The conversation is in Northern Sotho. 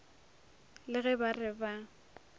le ge ba re ba